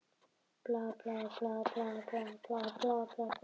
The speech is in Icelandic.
Hægar og ákveðnar strokur eru bestar nema beðið sé um annað.